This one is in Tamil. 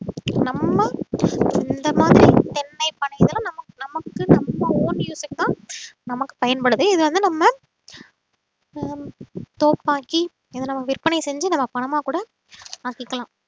நம்ம இந்த மாதிரி தென்னை பனை இதெலாம் நமக்கு நம்ம own use க்கு தான் நமக்கு பயன்படுது இது வந்து நம்ம ஹம் தோப்பாக்கி இதை நம்ம விற்பனை செஞ்சு நம்ம பணமா கூட மாத்திக்கலாம்